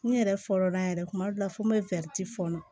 N yɛrɛ fɔlɔ la yɛrɛ kuma dɔ la fo n bɛ fɔɔnɔ